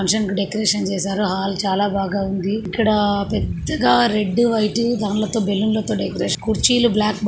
Decoration చేసారు. Hall చాలా బాగా ఉంది. ఇక్కడ పెద్దగా రెడ్డు వైటు దాన్లతో బెలూన్ లతో డెకరేషన్ కుర్చీలు బ్లాక్--